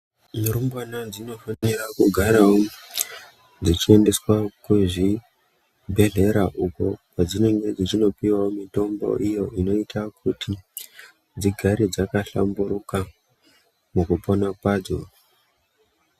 Dzimwe rumbwana dzinodekugaravo dzechiendeswa kuzvibhehlera uko kwadzinenge dzeipuvavo mutombo idzo dzinoite kuti dzigare dzakahlamburuka mukupona kwadzo.